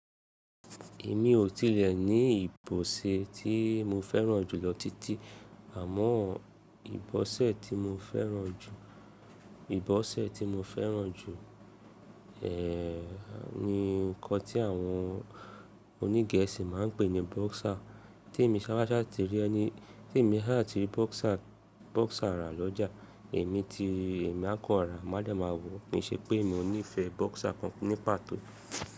Èmi ò tilẹ̀ ní ìbọ̀se tí mo fẹ́ràn jù lọ títí, àmọ́ ìbọ́sẹ̀ tí mo fẹ́ràn jù, ìbọ́sẹ̀ tí mo fẹ́ràn jù, eh ni nǹkan tí àwọn oní Gẹ̀ẹ́sì máa ń pè ní boxer. Tí èmi sáwàṣá ti rí ẹni, tí èmi háà ti rí boxer, boxer rà lọ́jà, èmi ti, èmi á kọ́ rà má de mà wò, mi ṣe pé mo nífẹ̀ẹ boxer kan ní pàtó.